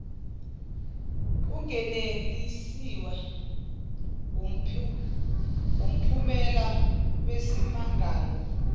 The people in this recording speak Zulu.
ungenelisiwe wumphumela wesimangalo